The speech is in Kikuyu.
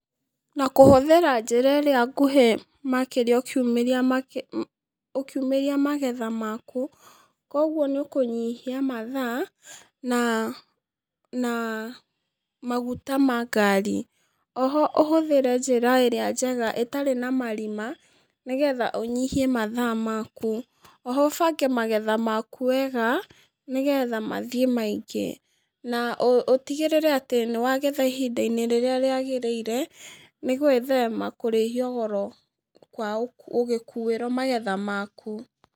Na kũhũthĩra njĩra ĩrĩa nguhĩ makĩria ũkiu ũkiumĩria magetha maku, koguo nĩũkũnyihia mathaa, na, na, maguta ma ngari, oho ũhũthĩre njĩra ĩrĩa njega ĩtarĩ na marima nĩgetha ũnyihie mathaa maku, oho ũbange magetha maku wega, nĩgetha mathiĩ maingĩ, na ũtigĩríre atĩ nĩwagetha ihinda-inĩ rĩrĩa rĩagĩrĩre, nĩgwĩthema kũrĩhio goro kwaũ ũgĩkuĩrwo magetha maku.